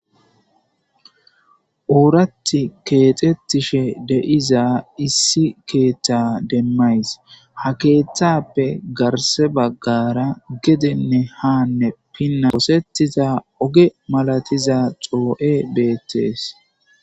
Oorathi kexetishe de'za issi ketha demays , ha kethappe garse bagara gedenne ha pinana osetiza oge masatiza xoo'ey beetes.